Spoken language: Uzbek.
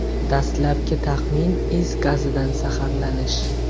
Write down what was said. Dastlabki taxmin is gazidan zaharlanish.